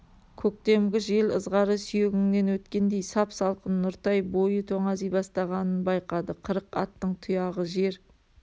көктемгі жел ызғары сүйегіңнен өткендей сап салқын нұртай бойы тоңази бастағанын байқады қырық аттың тұяғы жер